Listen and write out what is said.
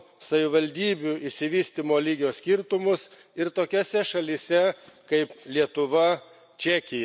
savivaldybių išsivystymo lygio skirtumus ir tokiose šalyse kaip Lietuva, Čekija.